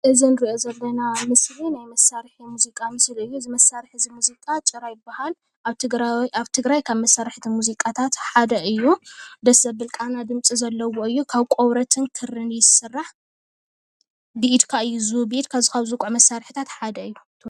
እዚ ምስሊ ካብቶም ባህላዊ መሳርሒ ሙዚቃ ሓደ ኾይኑ ጭራ ኸዓ ይበሃል ካብ ቆርበትን ፀጉሪ ፈረስ ይስራሕ።